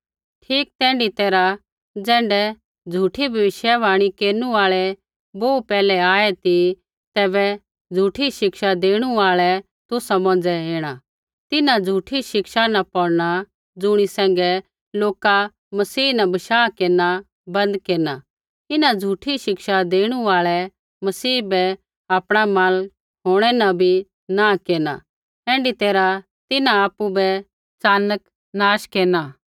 ठीक तैण्ढै तैरहा ज़ैण्ढै झ़ूठी भविष्यवाणी केरनु आल़ै बोहू पैहलै आऐ ती तैबै झ़ूठी शिक्षा देणु आल़ै तुसा मौंझ़ै ऐणा तिन्हां झ़ूठी शिक्षा न पौड़ना ज़ुणी सैंघै लोका मसीह न बशाह केरना बन्द केरना इन्हां झ़ूठी शिक्षा देणु आल़ै मसीह बै आपणा मालक होंणै न भी नाँ केरना ऐण्ढी तैरहा तिन्हां आपु बै च़ानक नाश केरना